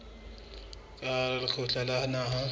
ka hara lekgotla la naha